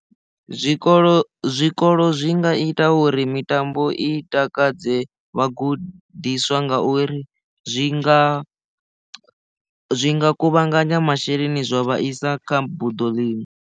Zwikolo zwikolo zwi nga ita uri mitambo i takadze vhagudiswa ngauri zwi nga zwi nga kuvhanganya masheleni zwo vhaisa kha buḓo ḽi.